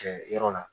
Kɛ yɔrɔ la